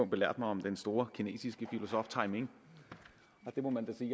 belærte mig om den store kinesiske filosof timing og det må man da sige